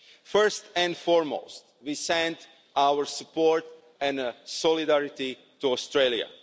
First and foremost, we send our support and solidarity to Australia.